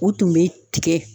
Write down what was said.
U tun be tigɛ